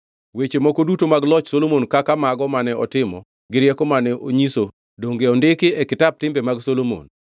Weche moko duto mag loch Solomon kaka mago mane otimo gi rieko mane onyiso donge ondikgi e kitap timbe mag Solomon?